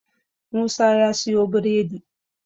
Musa ya siyo biredi